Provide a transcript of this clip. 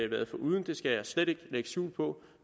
været foruden det skal jeg slet ikke lægge skjul på